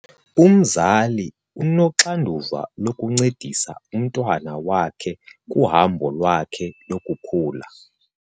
Umzali unoxanduva lokuncedisa umntwana wakhe kuhambo lwakhe lokukhula.